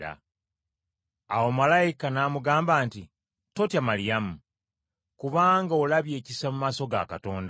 Awo malayika n’amugamba nti, “Totya, Maliyamu, kubanga olabye ekisa mu maaso ga Katonda.